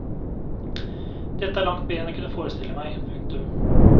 Dette er langt mer enn jeg kunne forestille meg. punktum